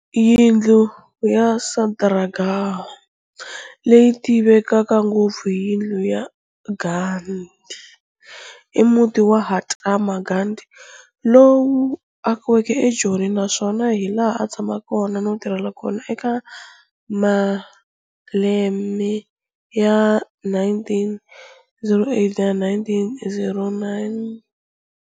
Yindlu yaSatyagraha, leyi tivekaka ngopfu hi Yindlu yaGandhi, i muti wa Mahatma Gandhi lowu akiweke eJoni, naswona hi laha a tshameke no tirhela kona eka maleme ya 1908 na 1909.